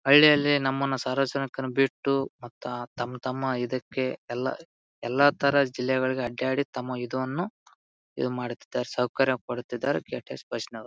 ಹಳ್ಳಿಯಲ್ಲಿ ನಮ್ಮನ್ನು ಸಾರ್ವಜನಿಕರು ಬಿಟ್ಟು ಮತ್ತ ತಮ್ಮ ತಮ್ಮ ಇದಕ್ಕೆ ಎಲ್ಲಾ ಎಲ್ಲಾ ತರ ಜಿಲ್ಲೆಗಳಿಗೆ ಅಡ್ಯಾಡಿ ತಮ್ಮ ಇದುವನ್ನು ಇದು ಮಾಡುತ್ತಿದ್ದಾರೆ ಸೌಕರ್ಯ ಪಡುತ್ತಿದ್ದಾರೆ ಕೆಟೆಸ್ ಬಸ್ ನ್ಯವರು.